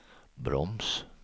broms